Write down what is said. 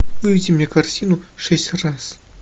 выведи мне картину шесть раз